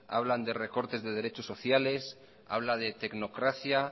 hablan de recortes de derechos sociales habla de tecnocracia